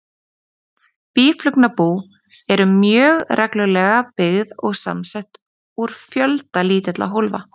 Býflugnabú eru mjög reglulega byggð og samsett úr fjölda lítilla hólfa.